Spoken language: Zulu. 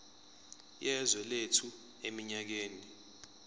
yezwe lethu eminyakeni